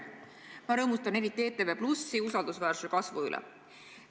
Ma rõõmustan eriti ETV+ usaldusväärsuse kasvu üle.